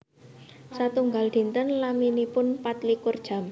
Satunggal dinten laminipun pat likur jam